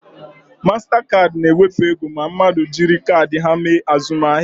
Mastakaadị na ewepụ ego ma mmadụ jiri kaadị ha mee azụmahịa